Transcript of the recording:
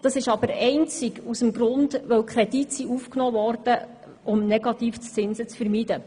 Dies ist jedoch einzig deshalb so, weil Kredite aufgenommen wurden, um Negativzinsen zu vermeiden.